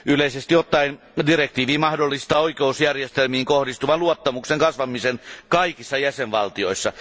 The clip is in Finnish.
Yleisesti ottaen direktiivi mahdollistaa oikeusjärjestelmiin kohdistuvan luottamuksen kasvamisen kaikissa jäsenvaltioissa.